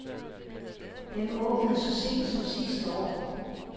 Den åbnede så sent som sidste år.